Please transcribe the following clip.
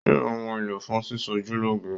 Yóò ra ohun èlò fún sísọjúlọ́ge